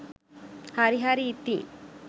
හරි හරි ඉතින්.